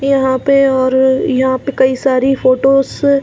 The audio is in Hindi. यहाँ पे और यहाँ पे कई सारी फोटोस ।